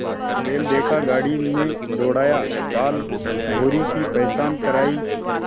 बैल देखा गाड़ी में दौड़ाया बालभौंरी की पहचान करायी